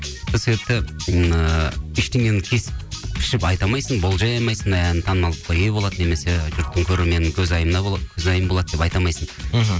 сол себепті ыыы ештеңені кесіп пішіп айта алмайсың болжай алмайсың ән танымалдыққа ие болады немесе жұрттың көрерменнің көзайымы болады деп айта алмайсың мхм